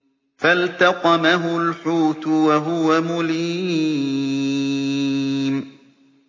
فَالْتَقَمَهُ الْحُوتُ وَهُوَ مُلِيمٌ